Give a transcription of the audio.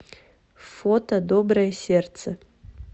фото доброе сердце